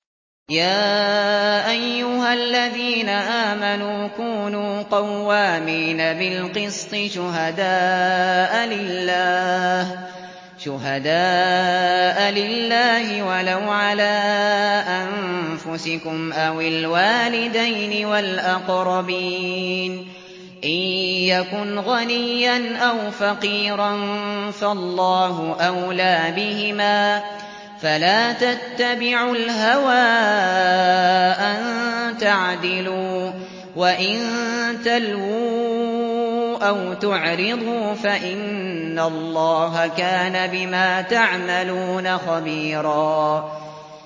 ۞ يَا أَيُّهَا الَّذِينَ آمَنُوا كُونُوا قَوَّامِينَ بِالْقِسْطِ شُهَدَاءَ لِلَّهِ وَلَوْ عَلَىٰ أَنفُسِكُمْ أَوِ الْوَالِدَيْنِ وَالْأَقْرَبِينَ ۚ إِن يَكُنْ غَنِيًّا أَوْ فَقِيرًا فَاللَّهُ أَوْلَىٰ بِهِمَا ۖ فَلَا تَتَّبِعُوا الْهَوَىٰ أَن تَعْدِلُوا ۚ وَإِن تَلْوُوا أَوْ تُعْرِضُوا فَإِنَّ اللَّهَ كَانَ بِمَا تَعْمَلُونَ خَبِيرًا